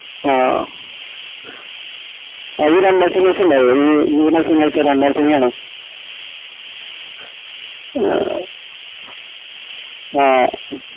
ആഹ് ആ ഈ രണ്ടാംശനിയാഴ്ചയ്ണ്ടാവോ ഈ വര്ന്ന ശനി രണ്ടാംശനിയാണോ എ ആഹ്